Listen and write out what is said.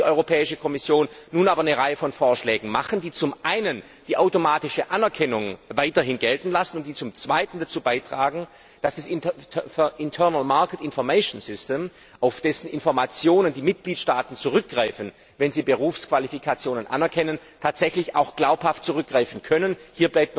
Dazu muss die Europäische Kommission nun aber eine Reihe von Vorschlägen machen, die zum einen die automatische Anerkennung weiterhin gelten lassen, und die zum zweiten dazu beitragen, dass auf das Internal Market Information System dessen Informationen die Mitgliedstaaten nutzen, wenn sie Berufsqualifikationen anerkennen, tatsächlich auch glaubhaft zurückgegriffen werden kann.